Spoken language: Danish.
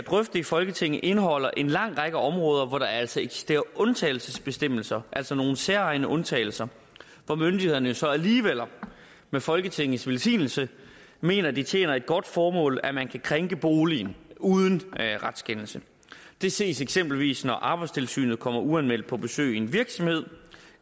i folketinget indeholder en lang række områder hvor der altså eksisterer undtagelsesbestemmelser altså nogle særegne undtagelser hvor myndighederne så alligevel med folketingets velsignelse mener at det tjener et godt formål at man kan krænke boligen uden retskendelse det ses eksempelvis når arbejdstilsynet kommer uanmeldt på besøg i en virksomhed